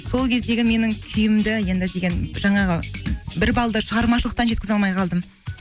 сол кездегі менің күйімді енді деген жаңағы бір балды шығармашылықтан жеткізе алмай қалдым